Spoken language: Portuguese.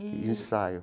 E ensaio.